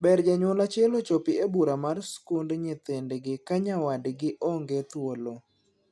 Ber janyuol achiel ochopi e bura mar skund nyithindgi ka nyawadgi onge thuolo.